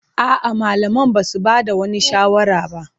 A'a, malaman ba su ba da wani shawara ba.